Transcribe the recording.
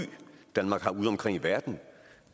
danmark har udeomkring i verden